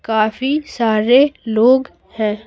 काफी सारे लोग हैं।